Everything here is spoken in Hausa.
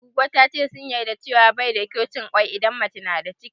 Goggo ta ce sun yarda cewa bai da kyau cin kwai in mace na da ciki